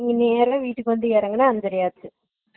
வந்து இறங்கி வீட்டுக்கு வந்து இறங்குனா அஞ்சறை ஆச்சு